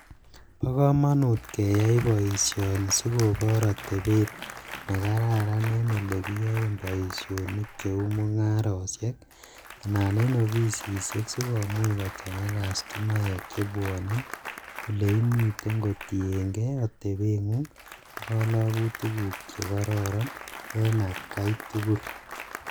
Bo komonut keyai boisioni sikopoor atebet ne kararan en ole kiyaen boisionik cheuu mung'arosiek anan en ofisisiek sikomuch kochang'aitu kastomaek chebwane oleimiten kotiengei atebeng'ung' ak kalokutiguk che karoron en atkai tugul.